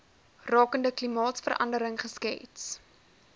rakende klimaatsverandering geskets